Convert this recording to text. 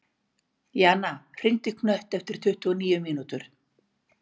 Jana, hringdu í Knött eftir tuttugu og níu mínútur.